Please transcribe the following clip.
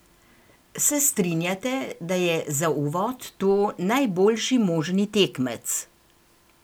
Se strinjate, da je za uvod to najboljši možni tekmec?